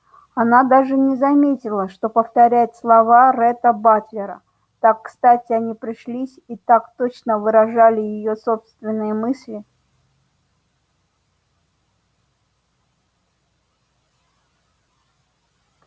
она даже не заметила что повторяет слова ретта батлера так кстати они пришлись и так точно выражали её собственные мысли